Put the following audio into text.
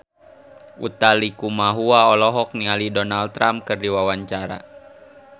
Utha Likumahua olohok ningali Donald Trump keur diwawancara